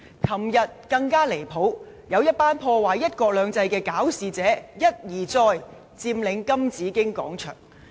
昨天更加離譜，有一群希望破壞"一國兩制"的搞事者，一再佔領金紫荊廣場。